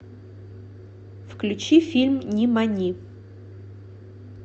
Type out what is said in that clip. включи фильм нимани